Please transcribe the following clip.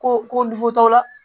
Ko ko la